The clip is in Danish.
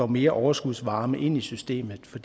mere overskudsvarme ind i systemet for